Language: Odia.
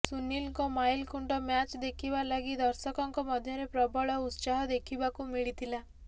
ସୁନୀଲଙ୍କ ମାଇଲଖୁଣ୍ଟ ମ୍ୟାଚ୍ ଦେଖିବା ଲାଗି ଦର୍ଶକଙ୍କ ମଧ୍ୟରେ ପ୍ରବଳ ଉତ୍ସାହ ଦେଖିବାକୁ ମିଳିଥିଲା